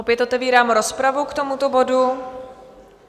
Opět otevírám rozpravu k tomuto bodu.